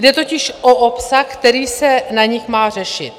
Jde totiž o obsah, který se na nich má řešit.